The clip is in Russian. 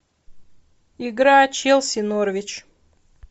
игра челси норвич